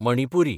Manipuri